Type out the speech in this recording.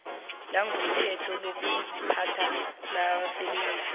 langokomthetho lokuziphatha labasebenzi